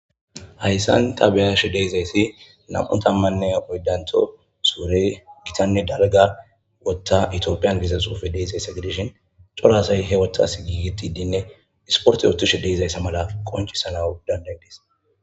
Hayssan ta be7ashe de7izayssi nam7u tammanne oydanto suure gitanne dalga wotta itiophiyan gizasuufe deezayssa gidishin cora asay he wothas giigitidinne isporte ootishe deezayssa mala qoncc salawui danda7idees.